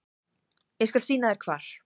Ég skal sýna þér hvar.